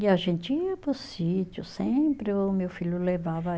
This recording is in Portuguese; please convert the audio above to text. E a gente ia para o sítio, sempre o meu filho levava